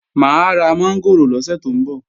Mà á ra mọ́ngòrò lọ́sẹ̀ tó ń bọ̀